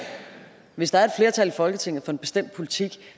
hvis der er flertal i folketinget for en bestemt politik